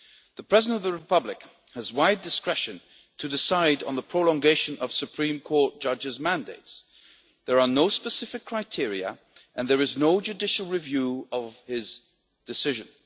The President of the Republic has wide discretion to decide on the prolongation of Supreme Court judges' mandates. There are no specific criteria and there is no judicial review of his decision.